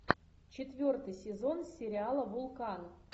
четвертый сезон сериала вулкан